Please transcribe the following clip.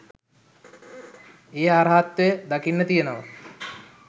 ඒ අරහත්වය දකින්න තියෙනවා.